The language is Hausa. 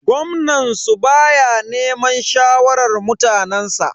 Gwamnan su baya neman shawarar mutanensa.